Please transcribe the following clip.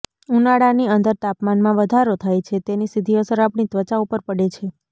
ઉનાળાની અંદર તાપમાનમાં વધારો થાય છે તેની સીધી અસર આપણી ત્વચા ઉપર પડે છે